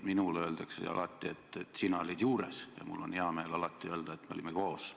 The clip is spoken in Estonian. Minule öeldakse alati, et sina olid juures, ja mul on hea meel öelda, et me olime toona koos.